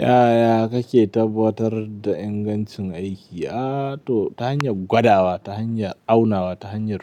Yaya kake tabbatar da ingancin aiki? Aa to ta hanyar gwadawa, ta hanyar aunawa, ta hanyar